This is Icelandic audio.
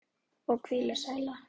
Og hvílík sæla.